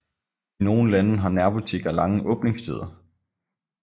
I nogle lande har nærbutikker lange åbningstider